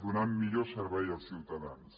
donant millor servei als ciutadans